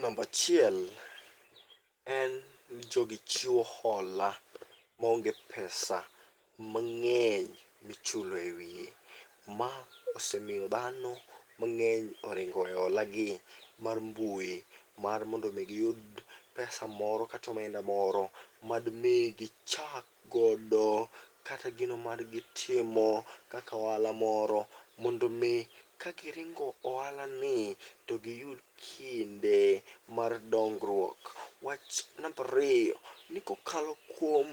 Nambachiel en ni jogi chiwo hola maonge pesa mang'eny michulo e wiye. Ma osemiyo dhano mang'eny oringo owe hola gi mar mbui, mar mondo mi giyud pesa moro katomenda moro madmi gichakgodo kata gino madgitimo kakoala moro. Mondo mi ka giringo oala ni to giyud kinde mar dongruok. Wach nambariyo, ni kokalo kuom